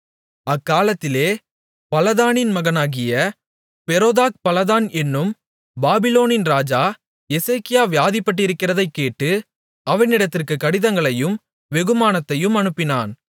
அக்காலத்திலே பலாதானின் மகனாகிய பெரோதாக்பலாதான் என்னும் பாபிலோனின் ராஜா எசேக்கியா வியாதிப்பட்டிருக்கிறதைக் கேட்டு அவனிடத்திற்கு கடிதங்களையும் வெகுமானத்தையும் அனுப்பினான்